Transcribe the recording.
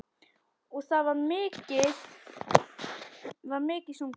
Og, það var mikið sungið.